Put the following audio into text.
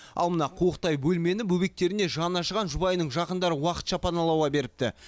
ал мына қуықтай бөлмені бөбектеріне жаны ашыған жұбайының жақындары уақытша паналауға беріпті